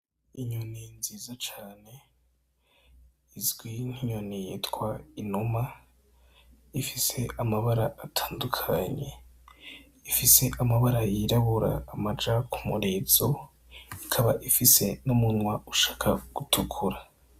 Inyoni nziza cane, izwi nk'inyoni yitwa inuma, ifise amabara atandukanye. Ifise amabara yirabura amaja k'umurizo, ikaba ifise n'umunwa ushaka gutukura.